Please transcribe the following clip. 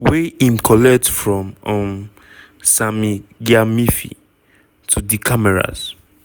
wey im collect from um sammy gyamfi to di cameras.